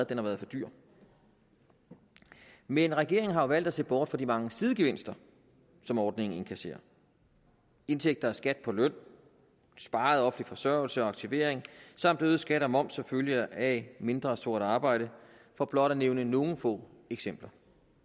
den har været for dyr men regeringen har jo valgt at se bort fra de mange sidegevinster som ordningen inkasserer indtægter fra skat på løn sparede offentlig forsørgelse og aktivering samt øgede skatter og moms som følge af mindre sort arbejde for blot at nævne nogle få eksempler